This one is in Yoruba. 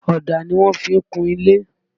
Ọ̀dà ni wọ́n fi kun ilé